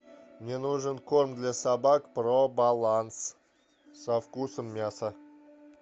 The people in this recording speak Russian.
мне нужен кором для собак про баланс со вкусом мяса